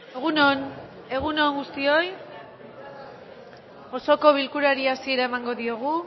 egun on egun on guztioi osoko bilkurari hasiera emango diogu